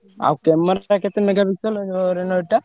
ଆଉ camera ଟା କେତେ megapixel ଟା?